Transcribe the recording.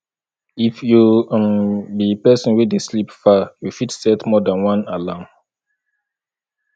if you um be person wey dey sleep far you fit set more than one alarm